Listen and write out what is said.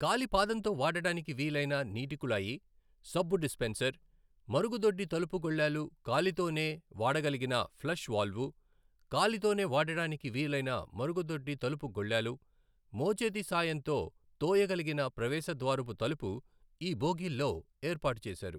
కాలి పాదంతో వాడటానికి వీలైన నీటి కుళాయి, సబ్బు డిస్పెన్సర్, మరుగుదొడ్డి తలుపు గొళ్లాలు కాలితోనే వాడగలిగిన ఫ్లష్ వాల్వు, కాలితోనే వాడటానికి వీలైన మరుగుదొడ్డి తలుపు గొళ్లాలు, మోచేతి సాయంతో తోయగలిగిన ప్రవేశద్వారపు తలుపు ఈ బోగీల్లో ఏర్పాటు చేశారు.